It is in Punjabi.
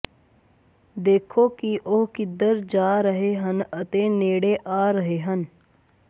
ਦੇਖੋ ਕਿ ਉਹ ਕਿੱਧਰ ਜਾ ਰਹੇ ਹਨ ਅਤੇ ਨੇੜੇ ਆ ਰਹੇ ਹਨ